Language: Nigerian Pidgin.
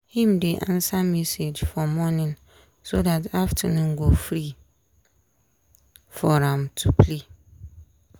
him dey answer message for morning so dat afternoon go free for am to play.